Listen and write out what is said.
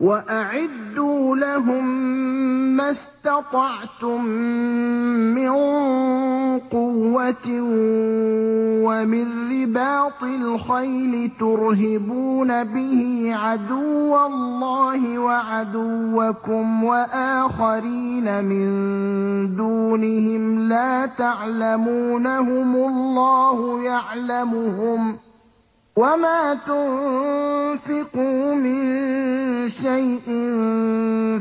وَأَعِدُّوا لَهُم مَّا اسْتَطَعْتُم مِّن قُوَّةٍ وَمِن رِّبَاطِ الْخَيْلِ تُرْهِبُونَ بِهِ عَدُوَّ اللَّهِ وَعَدُوَّكُمْ وَآخَرِينَ مِن دُونِهِمْ لَا تَعْلَمُونَهُمُ اللَّهُ يَعْلَمُهُمْ ۚ وَمَا تُنفِقُوا مِن شَيْءٍ